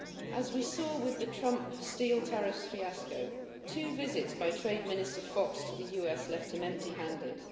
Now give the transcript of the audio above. As we saw with the Trump steel tariffs fiasco, two visits by Trade Minister Fox to the US left him empty handed.